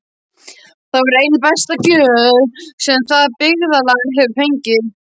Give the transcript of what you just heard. Það var ein besta gjöf sem það byggðarlag hefur fengið.